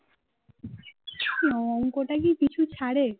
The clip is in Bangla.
আরে অংকটা কি আর পিছু ছাড়ে